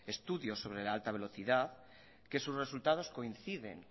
estudios sobre la alta velocidad que sus resultados coinciden